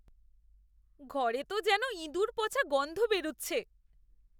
ঘরে তো যেন ইঁদুর পচা গন্ধ বেরুচ্ছে।